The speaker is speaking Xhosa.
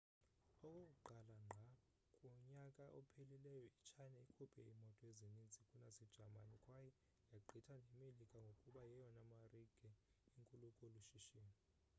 okokuqala ngqa kunyaka ophelileyo i-china ikhuphe iimoto ezininzi kunasejamani kwaye yagqitha nemelika ngokuba yeyona marike inkulu kolu shishino